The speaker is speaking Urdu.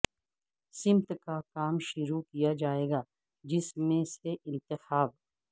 سمت کا کام شروع کیا جائے گا جس میں سے انتخاب